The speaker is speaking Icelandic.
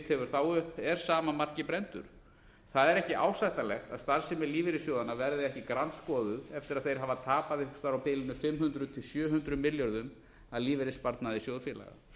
hefur þá upp er sama marki brenndur það er ekki ásættanlegt að starfsemi lífeyrissjóðanna verði ekki grandskoðuð eftir að þeir hafa tapað einhvers staðar á bilinu fimm hundruð til sjö hundruð milljörðum af lífeyrissparnaði sjóðfélaga